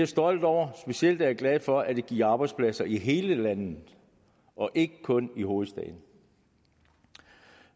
stolt over specielt er jeg glad for at det giver arbejdspladser i hele landet og ikke kun i hovedstaden